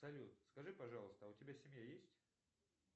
салют скажи пожалуйста а у тебя семья есть